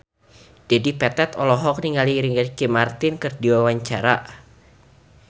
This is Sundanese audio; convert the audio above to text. Dedi Petet olohok ningali Ricky Martin keur diwawancara